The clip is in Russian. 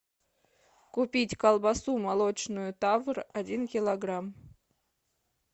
купить колбасу молочную тавр один килограмм